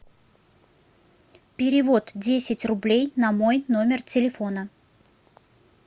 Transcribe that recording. перевод десять рублей на мой номер телефона